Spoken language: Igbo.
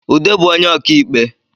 Ude bu onye ọka ikpe